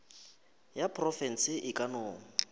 ya profense e ka no